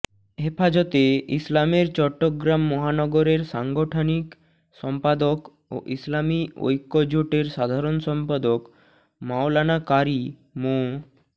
হেফাজতে ইসলামের চট্টগ্রাম মহানগরের সাংগঠনিক সম্পাদক ও ইসলামী ঐক্যজোটের সাধারণ সম্পাদক মাওলানা কারী মো